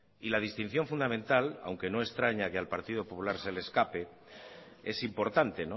y la distinción fundamental aunque no extraña que al partido popular se le escape es importante